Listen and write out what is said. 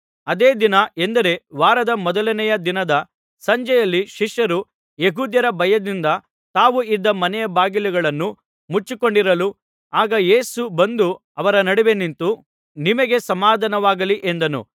ಅದೇ ದಿನ ಎಂದರೆ ವಾರದ ಮೊದಲನೆಯ ದಿನದ ಸಂಜೆಯಲ್ಲಿ ಶಿಷ್ಯರು ಯೆಹೂದ್ಯರ ಭಯದಿಂದ ತಾವು ಇದ್ದ ಮನೆಯ ಬಾಗಿಲುಗಳನ್ನು ಮುಚ್ಚಿಕೊಂಡಿರಲು ಆಗ ಯೇಸು ಬಂದು ಅವರ ನಡುವೆ ನಿಂತು ನಿಮಗೆ ಸಮಾಧಾನವಾಗಲಿ ಎಂದನು